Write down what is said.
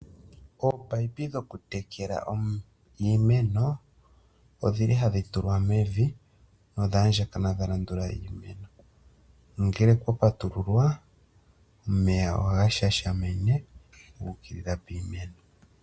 Ominino dhokutekela iimeno, odhi li hadhi tulwa mevi nodha andjakana dha landula iimeno. Nongele okwa patululwa omeya ohaga shashamine ga ukilila piimeno.